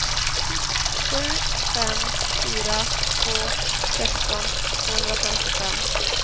sju fem fyra två sexton tvåhundrafemtiofem